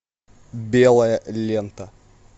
белая лента